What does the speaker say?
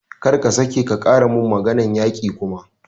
Kar ka sake ka ƙara mun maganar yaƙi kuma!